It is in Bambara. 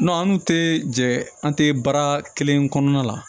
an dun tɛ jɛ an tɛ baara kelen kɔnɔna la